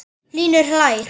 Hlynur hlær.